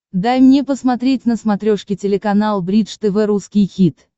дай мне посмотреть на смотрешке телеканал бридж тв русский хит